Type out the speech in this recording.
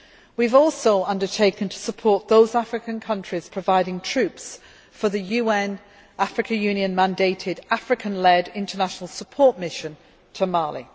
We have also undertaken to support those African countries providing troops for the UN African Union mandated African led International Support Mission to Mali.